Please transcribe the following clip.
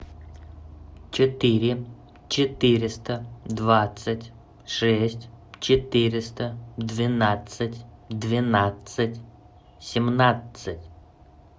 четыре четыреста двадцать шесть четыреста двенадцать двенадцать семнадцать